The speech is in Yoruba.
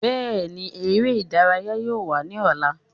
Bẹẹni, ere idaraya yoo wa ni ọla